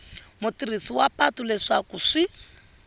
mutirhisi wa patu leswaku swi